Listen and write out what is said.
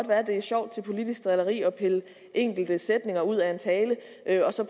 være at det er sjovt til politisk drilleri at pille enkelte sætninger ud af en tale